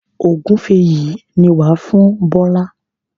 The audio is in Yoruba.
Ògúnfe yìí ni wà á fún Bọ́lá.